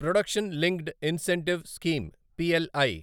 production linked incentive scheme PLI